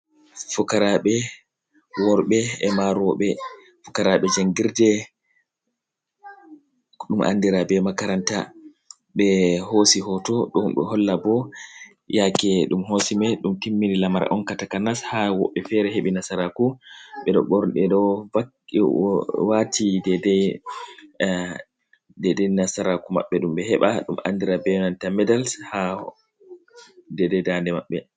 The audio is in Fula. Fukaraɓe worbe ema roɓe, fukarabe jangirde dum andira be makaranta be hosi hoto dum do holla bo yake dum hosimai dum timmini lamara on katakanas ha woɓɓe fere hebi nasaraku bedo borde do wati deda nasaraku maɓɓe dumbe heɓa dum andira be yonanta medals ha deda dande mabɓe.